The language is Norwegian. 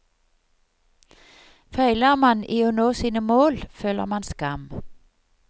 Feiler man i å nå sine mål føler man skam.